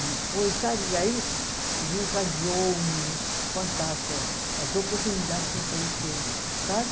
E depois, sabe, aí o se, desencadeou fantástica as oportunidades que apareceram, sabe?